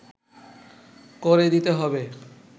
করে দিতে হবে